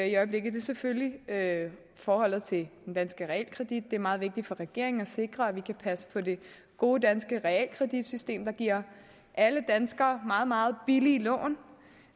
i øjeblikket er selvfølgelig forholdet til den danske realkredit det er meget vigtigt for regeringen at sikre at vi kan passe på det gode danske realkreditsystem der giver alle danskere meget meget billige lån